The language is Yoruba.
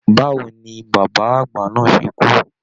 Báwo ní bàbá àgbà náà ṣe kú?